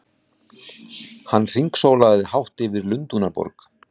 Hann hringsólaði hátt yfir Lundúnaborg!